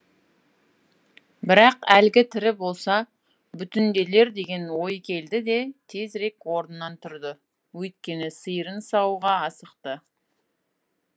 бірақ әлгі тірі болса бүтінделер деген ой келді де тезірек орнынан тұрды өйткені сиырын саууға асықты